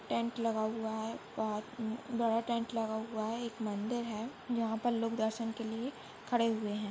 Tent लगा हुआ है बडा टेन्ट लगा हुआ है एक मंदिर है जहा पर लोग दर्शन के लिये खडे हुए है।